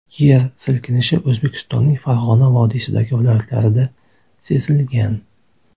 Yer silkinishi O‘zbekistonning Farg‘ona vodiysidagi viloyatlarida sezilgan.